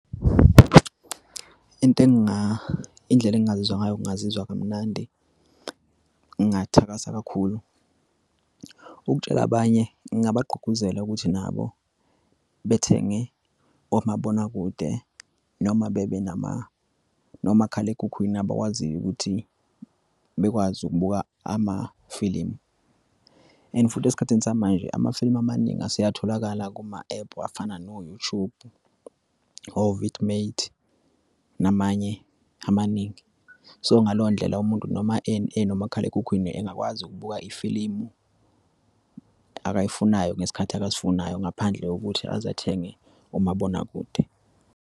Into indlela engingazizwa ngayo ngingazizwa kamnandi. Ngingathakasela kakhulu ukutshela abanye ngingabagqugquzela ukuthi nabo bethenge omabonakude noma bebe nomakhalekhukhwini abawaziyo ukuthi bekwazi ukubuka amafilimu and futhi esikhathini samanje, amafilimu amaningi aseyatholakala kuma-ephu afana no-YouTube, o-vidmate namanye amaningi. So, ngaleyo ndlela umuntu noma enomakhalekhukhwini engakwazi ukubuka ifilimu akayifunayo ngesikhathi akasifunayo ngaphandle kokuthi aze athenge umabonakude.